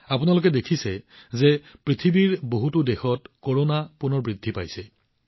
আপোনালোকে মন কৰিছে যে পৃথিৱীৰ বহুতো দেশত কৰোনা আকৌ বৃদ্ধি পাইছে